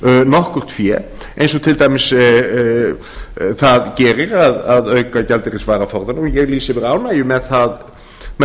nokkurt fé eins og til dæmis það gerir að auka gjaldeyrisvaraforðann og ég lýsi yfir ánægju með